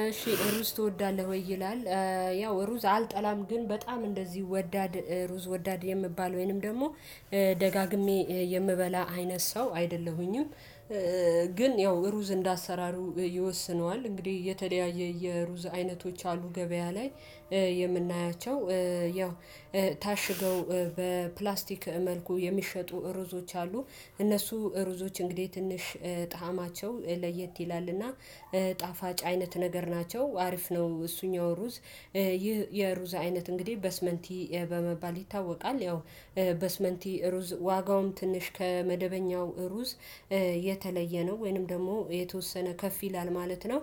እሺህ ሩዝ ትወዳለህ ወይ ይላል? ያው ሩዝ አልጠላም ግን በጣም እንደዚህ ወዳድ ሩዝ ወዳድ የምባል ወይንም ደግሞ ደጋግሜ የምበላ አይነት ሰው አይደለሁኝም። ግን ያው ሩዝ እንደ አሰራሩ ይወስነዋል እንግዲህ የተለያየ የሩዝ አይነቶች አሉ። ገበያ ላይ የምናያቸው ያው ታሽገው በፕላስቲክ መልኩ የሚሸጡ ርዕዞች አሉ። እነሱ ርዕዞች እንግዲህ ትንሽ ጣዕማቸው ለየት ይላልና ጣፋጭ አይነት ነገር ናቸው አሪፍ ነው። እሱኛው ሩዝ ይህ የሩዛ አይነት እንግዲህ በስመንቲ በመባል ይታወቃል። ያው በስመንቲ ሩዝ ዋጋውም ትንሽ ከመደበኛው ሩዝ የተለየ ነው ወይንም ደግሞ የተወሰነ ከፍ ይላል ማለት ነው።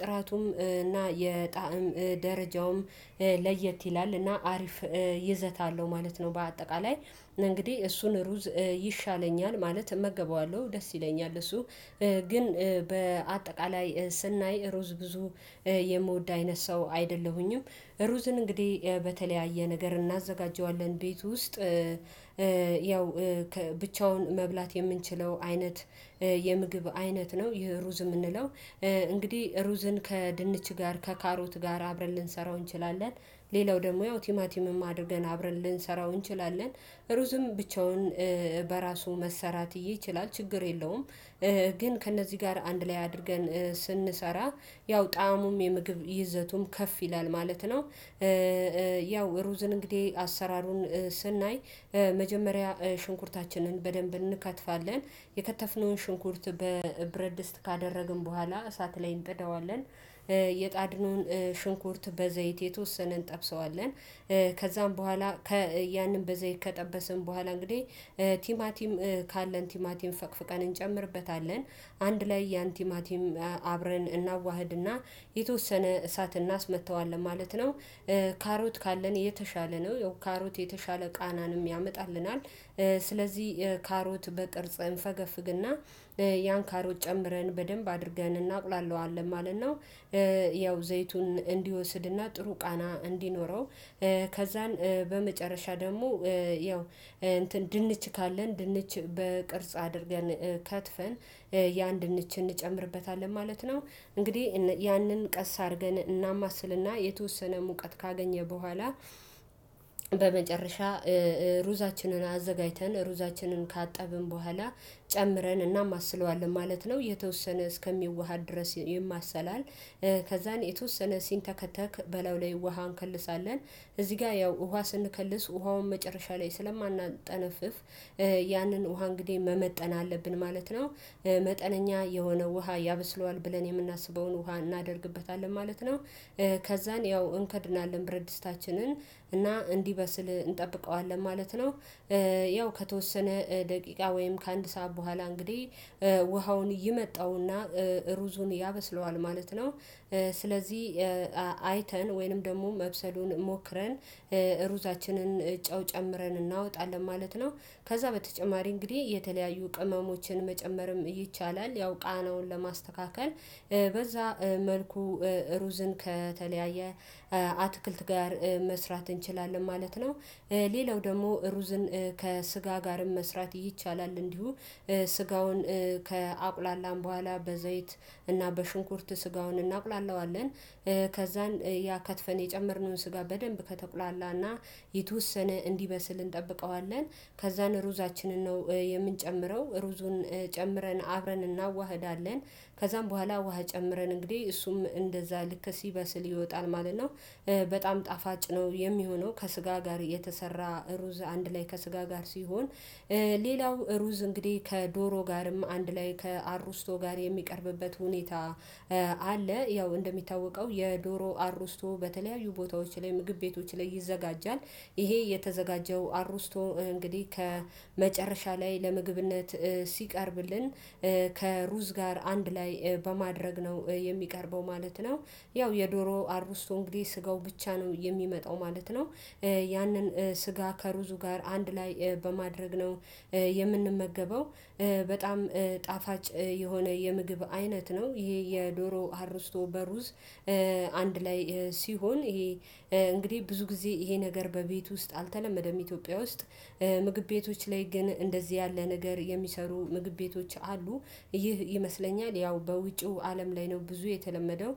ጥራቱም እና የጣዕም ደረጃውም ለየት ይላል እና አሪፍ ይዘታለሁ ማለት ነው። በአጠቃላይ እንግዲህ እሱን ሩዝ ይሻለኛል ማለት እመገበዋለሁ ደስ ይለኛል እሱ ግን በአጠቃላይ ስናይ ሩዝ ብዙ የምወድ አይነት ሰው አይደለሁኝም። ሩዝን እንግዲህ በተለያየ ነገር እናዘጋጀዋለን ቤት ውስጥ ያው ብቻውን መብላት የምንችለው አይነት የምግብ አይነት ነው። ይሄ ሩዝ የምንለው እንግዲህ ሩዝን ከድንች ጋር ከካሮት ጋር አብረን ልንሰራው እንችላለን። ሌላው ደግሞ ያው ቲማቲምም አድርገን አብረን ልንሰራው እንችላለን። ሩዝም ብቻውን በራሱ መሰራት ይችላል ችግር የለውም። ግን ከእነዚህ ጋር አንድ ላይ አድርገን ስንሰራ ያው ጣእሙም የምግብ ይዘቱም ከፍ ይላል ማለት ነው። ያው ሩዝን እንግዲህ አሰራሩን ስናይ መጀመሪያ ሽንኩርታችንን በደንብ እንከትፋለን የከተፍነውን ሽንኩርት በብረድስት ካደረግን በኋላ እሳት ላይ እንጠዳዋለን። የጣድነውን ሽንኩርት በዘይት የተወሰነ እንጠብሰዋለን። ከዛም በኋላ ያንን በዘይ ከጠበስን በኋላ እንግዲህ ቲማቲም ካለን ቲማቲም ፈቅፍቀን እንጨምርበታለን አንድ ላይ ያን ቲማቲም አብረን እናዋህድና የተወሰነ እሳት እናስመጥተዋለን ማለት ነው። ካሮት ካለን የተሻለ ነው ያው ካሮት የተሻለ ቃናንም ያመጣልናል ስለዚህ ካሮት በቅርጽ እንፈገፍግና ያን ካሮት ጨምረን በደንብ አድርገን እናቁላለዋለን ማለት ነው። ያው ዘይቱን እንዲወስድና ጥሩ ቃና እንዲኖረው ከዛን በመጨረሻ ደግሞ ያው እንትን ድንች ካለን ድንች በቅርጽ አድርገን ተጥፈን የአንድ ንች እንጨምርበታለን ማለት ነው። እንግዲህ ያንን ቀስ አድርገን እናማስልና የተወሰነ ሙቀት ካገኘ በኋላ በመጨረሻ ሩዛችንን አዘጋጅተን ሩዛችንን ካጠብን በኋላ ጨምረን እናም አስለዋለን ማለት ነው። የተወሰነ እስከሚዋሃድ ድረስ የማሰላል ከዛን የተወሰነ ሲንተከተክ በለው ላይ ውሃ እንከልሳለን። እዚህ ጋር ያው ውሃ ስንከልስ ውሃውን መጨረሻ ላይ ስለማናጠነፍፍ ያንን ውሃ እንግዲህ መመጠን አለብን ማለት ነው። መጠነኛ የሆነ ውሃ ያበስለዋል ብለን የምናስበውን ውሃ እናደርግበታለን ማለት ነው። ከዛን ያው እንክድና ለምረድ ስታችንን እና እንዲበስል እንጠብቀዋለን ማለት ነው። ያው ከተወሰነ ደቂቃ ወይም ከአንድ ሰዓት በኋላ እንግዲህ ውሃውን ይመጣውና ሩዙን ያበስለዋል ማለት ነው። ስለዚህ አይተን ወይንም ደግሞ መብሰሉን ሞክረን ሩዛችንን እጫው ጨምረን እናወጣለን ማለት ነው። ከዛ በተጨማሪ እንግዲህ የተለያዩ ቅመሞችን መጨመርም ይቻላል ያው ቃናውን ለማስተካከል በዛ መልኩ ሩዝን ከተለያየ አትክልት ጋር መስራት እንችላለን ማለት ነው። ሌላው ደግሞ ሩዝን ከስጋ ጋርም መስራት ይቻላል እንዲሁ ስጋውን ከአቁላላም በኋላ በዘይት እና በሽንኩርት ስጋውን እናቁላለዋለን። ከዛን ያከትፈን የጨመርነውን ስጋ በደንብ ከተቁላላና የተወሰነ እንዲበስል እንጠብቀዋለን ከዛን ሩዛችንን ነው የምንጨምረው ሩዙን ጨምረን አብረን እናዋህዳለን ከዛም በኋላ ውሃ ጨምረን እንግዲህ እሱም እንደዛ ልክ ሲበስል ይወጣል ማለት ነው። በጣም ጣፋጭ ነው የሚሆነው ከስጋ ጋር የተሰራ ሩዝ አንድ ላይ ከስጋ ጋር ሲሆን። ሌላው ሩዝ እንግዲህ ከዶሮ ጋርም አንድ ላይ ከአሩስቶ ጋር የሚቀርብበት ሁኔታ አለ ያው እንደሚታወቀው የዶሮ አርርስቶ በተለያዩ ቦታዎች ላይ ምግብ ቤቶች ላይ ይዘጋጃል። ይሄ የተዘጋጀው አሩስቶ እንግዲህ ከመጨረሻ ላይ ለምግብነት ሲቀርብልን ከሩዝ ጋር አንድ ላይ በማድረግ ነው የሚቀርበው ማለት ነው። ያው የዶሮ አርቡስቶ እንግዲህ ስጋው ብቻ ነው የሚመጣው ማለት ነው። ያንን ስጋ ከሩዙ ጋር አንድ ላይ በማድረግ ነው የምንመገበው በጣም ጣፋጭ የሆነ የምግብ አይነት ነው። ይሄ የዶሮ አርስቶ በሩዝ አንድ ላይ ሲሆን ይሄ እንግዲህ ብዙ ጊዜ ይሄ ነገር በቤቱ ውስጥ አልተለመደም ኢትዮጵያ ውስጥ ምግብ ቤቶች ላይ ግን እንደዚህ ያለ ነገር የሚሰሩ ምግብ ቤቶች አሉ። ይህ ይመስለኛል ያው በውጪው አለም ላይ ነው ብዙ የተለመደው